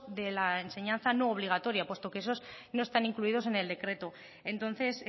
de la enseñanza no obligatoria puesto que esos no están incluidos en el decreto entonces